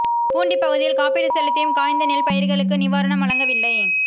பூண்டி பகுதியில் காப்பீடு செலுத்தியும் காய்ந்த நெல் பயிர்களுக்கு நிவாரணம் வழங்கவில்லை